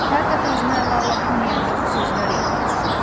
Hər dəfə özünə ələ ala bilməyəndə bu sözlər yadına düşürdü.